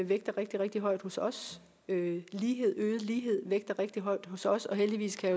vægter rigtig rigtig højt hos os og øget lighed vægter rigtig højt hos os og heldigvis kan